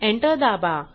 enter दाबा